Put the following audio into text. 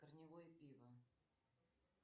корневое пиво